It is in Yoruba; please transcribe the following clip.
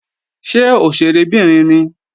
Ṣé òṣèré obìnrin ni?